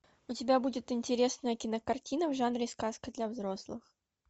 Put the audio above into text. у тебя будет интересная кинокартина в жанре сказка для взрослых